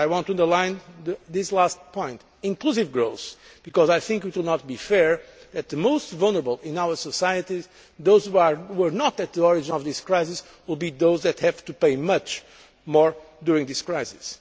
I want to underline this last point inclusive growth, because I think it would not be fair that the most vulnerable in our societies, those who were not the cause of this crisis, will be those who have to pay much more during this crisis.